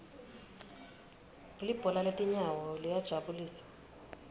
libhola letinyawo liyajabulisa